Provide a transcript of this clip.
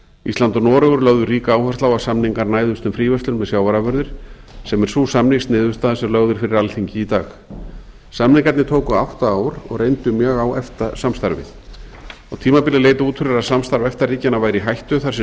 ísland og noregur lögðu ríka áherslu á að samningar næðust um fríverslun með sjávarafurðir sem er sú samningsniðurstaða sem lögð er fyrir alþingi í dag samningarnir tóku átta ár og reyndu mjög á efta samstarfið á tímabili leit út fyrir að samstarf efta ríkjanna væri í hættu þar sem